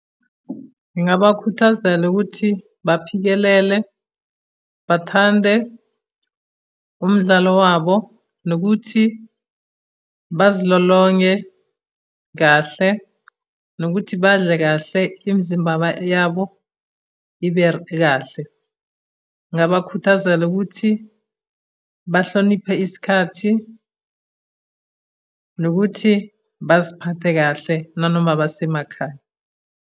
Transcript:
Ngingabakhuthazela ukuthi, baphikelele, bathande umdlalo wabo, nokuthi bazilolonge kahle, nokuthi badle kahle imizimba yabo ibe kahle. Ngingabakhuthazela ukuthi bahloniphe isikhathi, nokuthi baziphathe kahle nanoma basemakhaya.